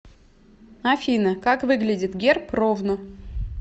афина как выглядит герб ровно